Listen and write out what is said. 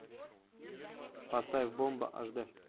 поставь бомба аш д